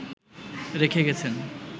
রেখে গেছেন